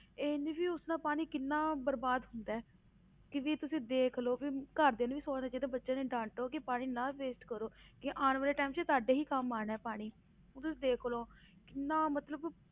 ਇਹ ਨੀ ਵੀ ਉਸ ਨਾਲ ਪਾਣੀ ਕਿੰਨਾ ਬਰਬਾਦ ਹੁੰਦਾ ਹੈ, ਕਿ ਵੀ ਤੁਸੀਂ ਦੇਖ ਲਓ ਵੀ ਘਰਦਿਆਂ ਨੂੰ ਵੀ ਸੋਚਣਾ ਚਾਹੀਦਾ ਬੱਚੇ ਨੂੰ ਡਾਂਟੋ ਕਿ ਪਾਣੀ ਨਾ waste ਕਰੋ, ਕਿ ਆਉਣ ਵਾਲੇ time 'ਚ ਤੁਹਾਡੇ ਹੀ ਕੰਮ ਆਉਣਾ ਹੈ ਪਾਣੀ ਹੁਣ ਤੁਸੀਂ ਦੇਖ ਲਓ, ਕਿੰਨਾ ਮਤਲਬ